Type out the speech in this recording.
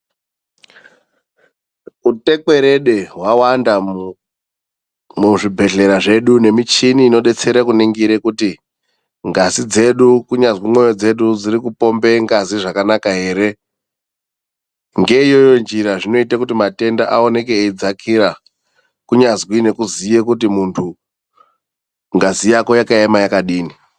Utekwerede hwawanda muzvibhedhlera zvedu nemichini inodetsere kuningire kuti ngazi dzedu kunyazwi mwoyo dzedu dzirikupombe ngazi zvakanaka here. Ngeiyoyo njira zvinoite kuti matenda aoneke eidzakira, kunyazwi nekuziya kuti mundu ngazi yako yakaema yakadini..